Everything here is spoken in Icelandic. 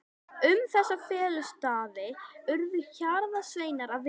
Um þessa felustaði urðu hjarðsveinarnir að vita.